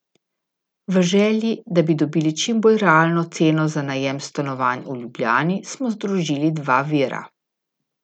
V želji, da bi dobili čim bolj realno ceno za najem stanovanj v Ljubljani, smo združili dva vira.